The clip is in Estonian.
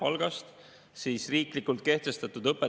Mulle sattus näppu siin õpetajate töötasu kohta Arenguseire Keskuse.